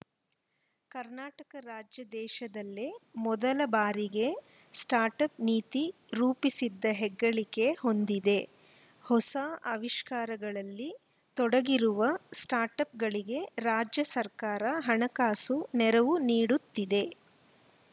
ಕರ್ನಾಟಕ ರಾಜ್ಯ ದೇಶದಲ್ಲೇ ಮೊದಲ ಬಾರಿಗೆ ಸ್ಟಾರ್ಟ್‌ಅಪ್‌ ನೀತಿ ರೂಪಿಸಿದ ಹೆಗ್ಗಳಿಕೆ ಹೊಂದಿದೆ ಹೊಸ ಆವಿಷ್ಕಾರಗಳಲ್ಲಿ ತೊಡಗಿರುವ ಸ್ಟಾರ್ಟ್‌ಅಪ್‌ಗಳಿಗೆ ರಾಜ್ಯ ಸರ್ಕಾರ ಹಣಕಾಸು ನೆರವು ನೀಡುತ್ತಿದೆ